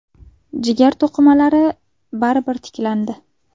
Jigar to‘qimalari baribir tiklandi.